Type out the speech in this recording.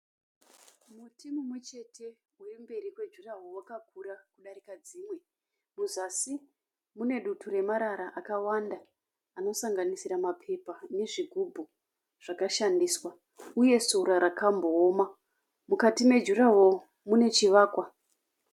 Muti mumwe chete uri mberi kwejuraho wakakura kudarika dzimwe. Muzasi mune dutu remarara akawanda anosanganisira mapepa nezvigubhu zvakashandiswa uye sora rakambooma. Mukati mejuraho mune chivakwa.